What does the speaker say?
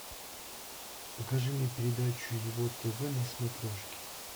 покажи мне передачу ево тв на смотрешке